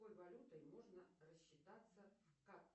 какой валютой можно рассчитаться в